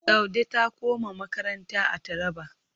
Saude ta koma makaranta a Taraba.